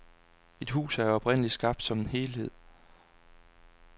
Et hus er jo oprindelig skabt som en helhed.